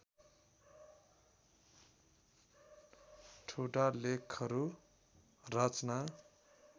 ठुटा लेखहरू रचना